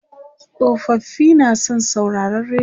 tsofaffi na san sauraron rediyo